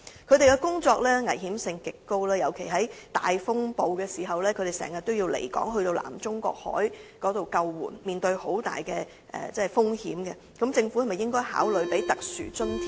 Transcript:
他們的工作危險性極高，尤其在大風暴時經常需要離港，遠赴南中國海進行救援工作，面對極大風險，政府應否考慮為他們發放特殊津貼？